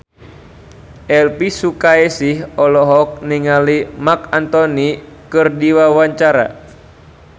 Elvy Sukaesih olohok ningali Marc Anthony keur diwawancara